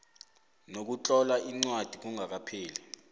ngokutlola incwadi kungakapheli